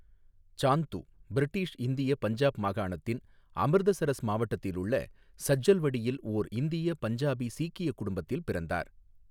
சாந்து British இந்திய பஞ்சாப் மாகாணத்தின் அமிர்தசரஸ் மாவட்டத்திலுள்ள சஜ்ஜல்வடியில் ஓர் இந்திய பஞ்சாபி சீக்கிய குடும்பத்தில் பிறந்தார்.